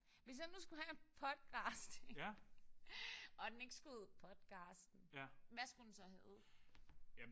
Hvis jeg nu skulle have en podcast og den ikke skulle hedde podcasten. Hvad skulle den så hedde?